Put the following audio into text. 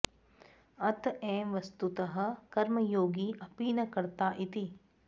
अत एव वस्तुतः कर्मयोगी अपि न कर्ता इति